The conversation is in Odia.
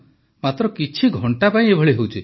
ମାତ୍ର କିଛି ଘଣ୍ଟା ପାଇଁ ଏଭଳି ହେଉଛି